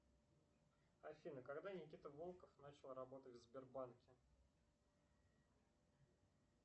афина когда никита волков начал работать в сбербанке